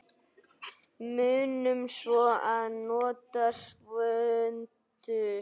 Munum svo að nota svuntu.